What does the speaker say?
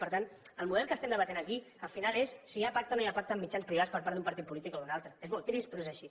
per tant el model que estem debatent aquí al final és si hi ha pacte o no hi ha pacte amb mitjans privats per part d’un partit polític o d’un altre és molt trist però és així